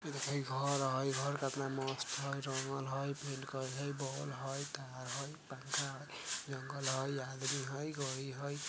इ देखई घर हई घर का कतना मस्त हई जंगल हई रंगल हई बॉल हई टायर हई पंखा हई जंगल हई आदमी हई गाड़ी हई।